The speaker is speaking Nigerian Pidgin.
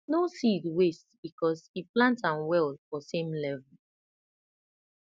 no seed waste because e plant am well for same level